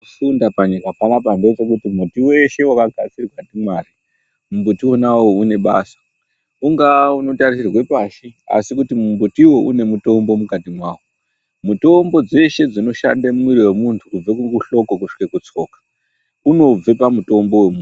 Kufunda panyika panapa ngechekuti mumbutu weshe wakanadirwa ndimwari mumbutuwo une basa ungaa unitarisirwe pashi asi une mutombo mukati mwawo mutombo dzeshe dzinoshande mumiri wemuntu kubve kuhloko kusvike kutsoma unobve Pamutombo wemu.